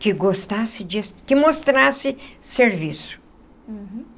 Que gostasse de que mostrasse serviço. Uhum.